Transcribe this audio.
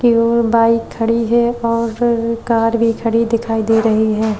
की ओर बाइक खड़ी है और कार भी खड़ी दिखाई दे रही है।